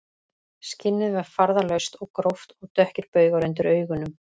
Skinnið var farðalaust og gróft og dökkir baugar undir augunum